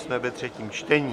Jsme ve třetím čtení.